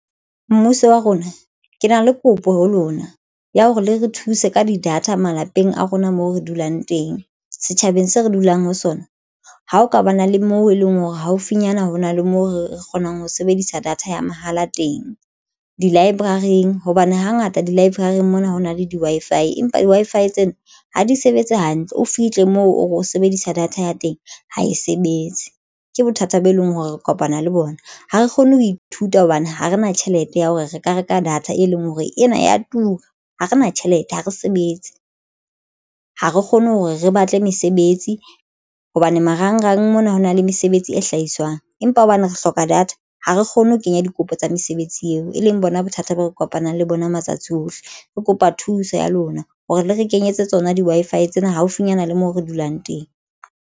Mmuso wa rona ke na le kopo ho lona ya hore le re thuse ka di-data malapeng a rona moo re dulang teng setjhabeng se re dulang ho sona. Ha ho ka ba na le moo e leng hore haufinyana hona le moo re kgonang ho sebedisa data ya mahala teng di-library-ng hobane hangata di-library-ng mona ha ho na le di-Wi-Fi empa di-Wi-Fi Tsena ha di sebetse hantle. O fihle moo o re o sebedisa data ya teng ha e sebetse ke bothata bo e leng hore re kopana le bona Ha re kgone ho ithuta hobane ha re na tjhelete ya hore re ka reka data e leng hore ena ya tura ha re na tjhelete ha re sebetse. Ha re kgone hore re batle mesebetsi hobane marangrang mona ho na le mesebetsi e hlahiswang, empa hobane re hloka data, ha re kgone ho kenya dikopo tsa mesebetsi eo e leng bona bothata bo re kopanang le bona matsatsi ohle re kopa thuso ya lona hore le re kenyetse tsona di-Wi-Fi tsena haufinyana le mo re dulang teng.